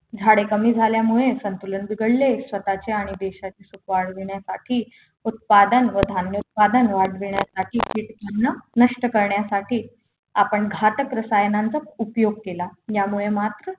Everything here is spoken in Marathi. झाडे कमी झाल्यामुळे संतुलन बिघडले स्वतःचे आणि देशाचे सुख वाढविण्यासाठी उत्पादन व धान्य उत्पादन वाढवण्यासाठी कीटकांना नष्ट करण्यासाठी आपण घातक रसायनांचा उपयोग केला यामुळे मात्र